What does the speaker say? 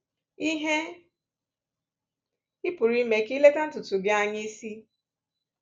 Ihe ị pụrụ ịmee ka ileta ntutu gi anya isi?